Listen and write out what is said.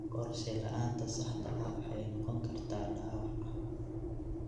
Qorshe la'aanta saxda ah waxay noqon kartaa dhaawac.